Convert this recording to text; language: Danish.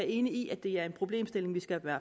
enig i at det er en problemstilling vi skal være